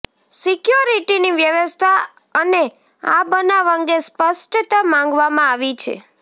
સિક્યોરિટીની વ્યવસ્થા અને આ બનાવ અંગે સ્પષ્ટતા માગવામાં આવી છે